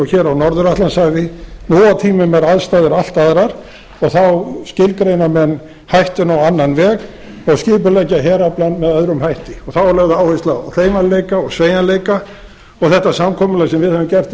hér á norður atlantshafi nú á tímum eru aðstæður allt aðrar og þá skilgreina menn hættuna á annan veg og skipuleggja heraflann með öðrum hætti þá er lögð áhersla á hreyfanleika og sveigjanleika og þetta samkomulag sem við höfum gert við